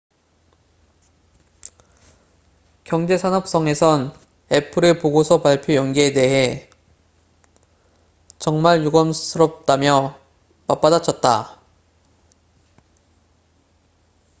"경제산업성에선 애플의 보고서 발표 연기에 대해 "정말 유감스럽다""며 맞받아쳤다.